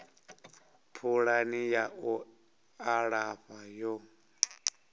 pulani ya u alafha yo